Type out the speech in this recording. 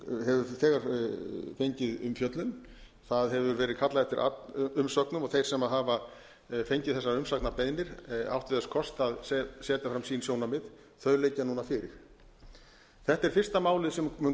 þegar fengið umfjöllun það hefur verið kallað eftir umsögnum og þeir sem hafa fengið þessar umsagnarbeiðnir áttu þess kost að setja fram sín sjónarmið þau liggja núna fyrir þetta er fyrsta málið sem mun